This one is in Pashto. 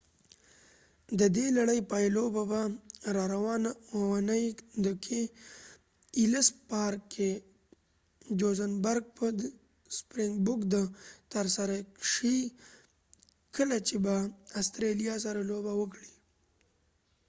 ددې لړۍ پایلوبه به راروانه اوونۍ د johannesburg په ellis park کې ترسره شي کله چې به sprinkboks د استرالیا سره لوبه وکړي